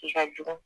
Dusu ka jugu